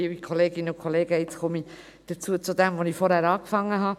Jetzt komme ich zu dem, mit dem ich vorhin begonnen habe.